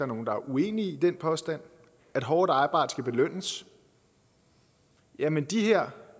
nogen der er uenige i den påstand og at hårdt arbejde skal belønnes jamen de her